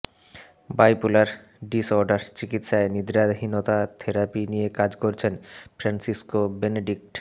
bipolar disorder চিকিৎসায় নিদ্রাহীনতা therapy নিয়ে কাজ করছেন ফ্রান্সিসকো বেনেডিক্ট